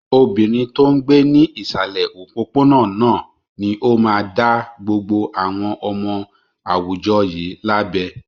Obìnrin tó ń gbé ní ìsàlẹ̀ òpópónà náà ni ó máa dá gbogbo àwọn ọmọ àwùjọ yìí lábẹ.